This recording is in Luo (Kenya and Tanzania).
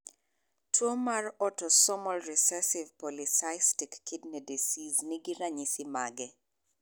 Tuo mar Autosomal recessive polycystic kidney disease ni gi ranyisi mage?